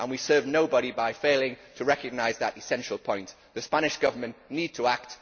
We serve nobody by failing to recognise that essential point. The Spanish Government needs to act.